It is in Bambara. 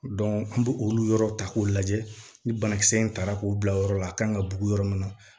an bɛ olu yɔrɔw ta k'o lajɛ ni banakisɛ in taara k'o bila o yɔrɔ la a kan ka bugu yɔrɔ min na